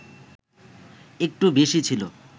একটু বেশি ছিল